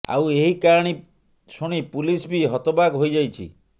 ଆଉ ଏହି କାହାଣୀ ଶୁଣି ପୁଲିସ ବି ହତବାକ ହୋଇଯାଇଛି